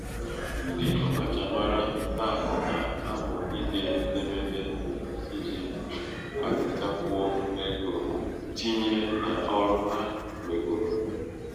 ndị ọkachamara taa na -amụ ide édémédé édémédé iji kpatakwuo ego tinyé n'ọrụ ha nweburu.